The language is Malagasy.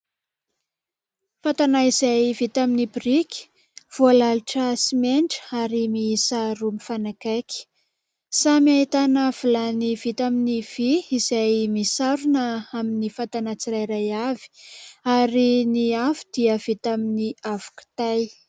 Fatana izay vita amin'ny biriki voalalotra simenitra ary miisa roa mifanakaiky. Samy ahitana vilany vita amin'ny vy izay misarona amin'ny fatana tsirairay avy ary ny afo dia vita amin'ny afo kitay.